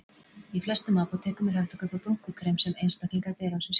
Í flestum apótekum er hægt að kaupa brúnkukrem sem einstaklingar bera á sig sjálfir.